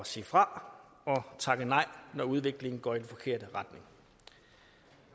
sige fra og takke nej når udviklingen går i den forkerte retning